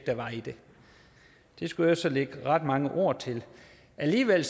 der var i det det skulle jeg så lægge ret mange ord til alligevel